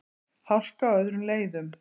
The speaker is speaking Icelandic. Hálka á öðrum leiðum